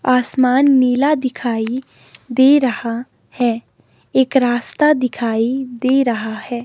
आसमान नीला दिखाई दे रहा है एक रास्ता दिखाई दे रहा है।